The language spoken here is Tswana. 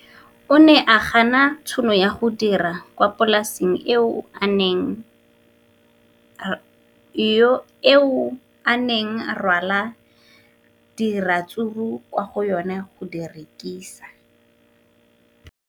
O ne a gana tšhono ya go dira kwa polaseng eo a neng rwala diratsuru kwa go yona go di rekisa.